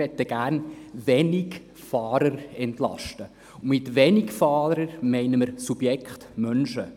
Wir möchten gerne Wenigfahrer entlasten, und mit Wenigfahrern meinen wir das Subjekt Mensch.